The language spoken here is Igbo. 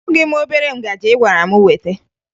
Ahụghị m obere ngaji ị gwara m weta